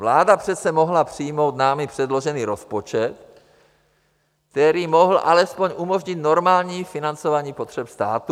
Vláda přece mohla přijmout námi předložený rozpočet, který mohl alespoň umožnit normální financování potřeb státu.